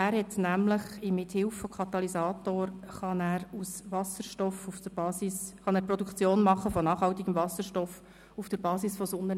Er kann mit Hilfe von verschiedenen Katalysatoren auf der Basis von Sonnenenergie nachhaltig Wasserstoff produzieren.